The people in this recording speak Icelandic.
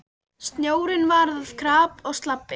Snjórinn varð að krapa og slabbi.